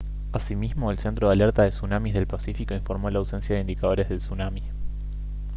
asimismo el centro de alerta de tsunamis del pacífico informó la ausencia de indicadores de tsunami